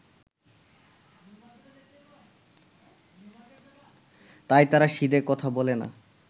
তাই তারা সিধে কথা বলে না